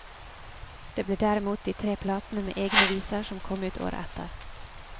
Det ble derimot de tre platene med egne viser som kom ut året etter.